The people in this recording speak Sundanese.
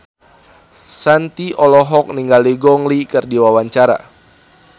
Shanti olohok ningali Gong Li keur diwawancara